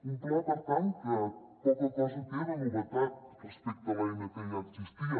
un pla per tant que poca cosa té de novetat respecte a l’eina que ja existia